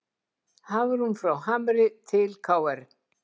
Hafrún frá Hamri til KR